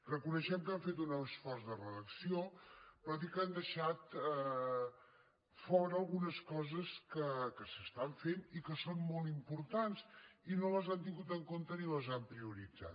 reconeixem que han fet un esforç de redacció però dir que han deixat fora algunes que s’estan fent i que són molt importants i no les han tingut en compte ni les han prioritzat